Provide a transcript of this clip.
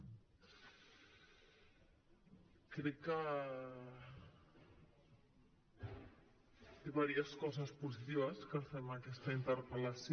crec que té diverses coses positives que fem aquesta interpel·lació